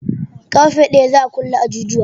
Ƙarfe ɗaya za a kulle ajujuwa